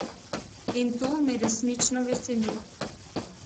In to me resnično veseli.